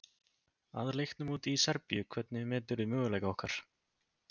Að leiknum úti í Serbíu, hvernig meturðu möguleika okkar?